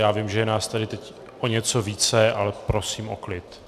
Já vím, že je nás tu teď o něco více, ale prosím o klid.